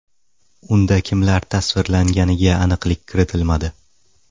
Unda kimlar tasvirlanganiga aniqlik kiritilmadi.